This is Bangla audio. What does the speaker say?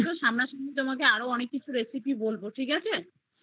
তোমাকে সামনে সামনি আরো অনেক recipe বলবো